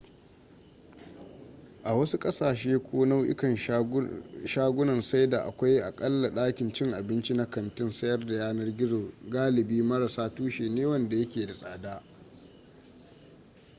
a wasu ƙasashe ko nau'ikan shagunan saida akwai aƙalla ɗakin cin abinci na kantin sayar da yanar gizon galibi marassa tushe ne wanda yake da tsada